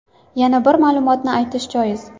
Yana bir ma’lumotni aytish joiz.